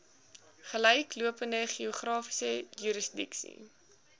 gelyklopende geografiese jurisdiksie